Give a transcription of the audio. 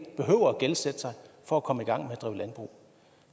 behøver gældsætte sig for at komme i gang med at drive landbrug